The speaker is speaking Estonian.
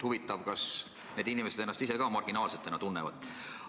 Huvitav, kas need inimesed ennast ise ka marginaalsetena tunnevad?